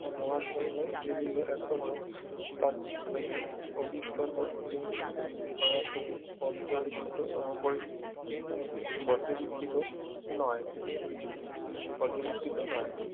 মহাশুন্য যেগুলো এখনো তাত্ত্বিকভাবে অভিজ্ঞত কিন্তু সরাসরি পর্যালোচিত আহ পরি পর্যবিক্ষিত নয় পর্যবিক্ষিত নয়